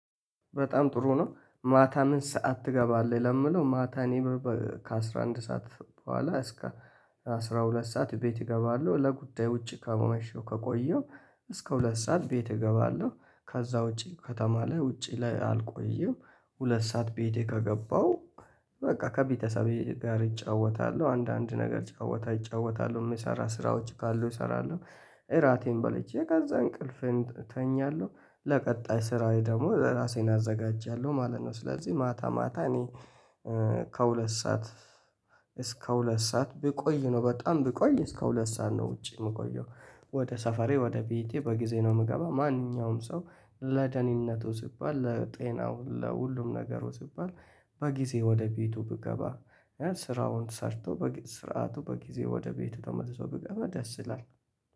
በጣም ጥሩ ነው ማታ ምን ሰዓት ትገባለህ? ለምለው ማታ እኔ በበበ ከ11 ሰዓት በኋላ እስከ አስራ ሁለት ሰዓት ቤት እገባለሁ። ለጉዳዩ ውጪ ከማሸው ከቆየው እስከ ሁለት ሰዓት ቤት እገባለሁ። ከዛ ውጪ ከተማ ላይ ውጪ ላይ አልቆየም። ሁለት ሰዓት ቤቴ ከገባሁ በቃ ከቤተሰቤ ጋር እጫወታለሁ አንዳንድ ነገር ጫወታ እጫወታለሁ የሚሰራ ስራዎች ካሉ እሰራለሁ። እራቴን በልቼ ከዛ እንቅልፌን እተኛለሁ ለቀጣይ ስራዬ ደግሞ ራሴን አዘጋጃለሁ ማለት ነው። ስለዚህ ማታ ማታ እኔ ከሁለት ሰዓት እስከ ሁለት ሰዓት ብቆይ ነው በጣም ብቆይ እስከ ሁለት ሰዓት ነው ውጪ የምቆየው። ወደ ሰፈሬ ወደ ቤቴ በጊዜ ነው። የምገባ ማንኛውም ሰው ለደኒነቱ ሲባል ለጤናው ለሁሉም ነገሩ ሲባል በጊዜ ወደ ቤቱ ብገባ ስራውን ሰርቶ በስርዓቱ በጊዜ ወደ ቤቱ ተመልሶ ብገባ ደስ ይላል።